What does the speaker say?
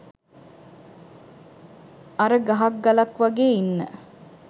අර ගහක් ගලක් වගේ ඉන්න